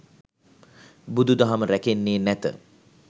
බුදු දහම රැකෙන්නේ නැත.